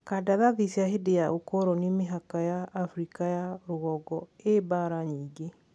Kandarathi cia hindi cia ũkoroni mihaka ya Afriaka ya rũgongo ii bara nyinge.